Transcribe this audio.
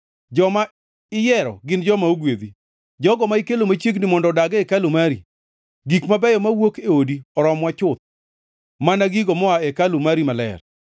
Joma iyiero gin joma ogwedhi, jogo ma ikelo machiegni mondo odag e hekalu mari! Gik mabeyo mowuok e odi oromowa chuth, mana gigo moa e hekalu mari maler.